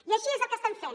i això és el que estem fent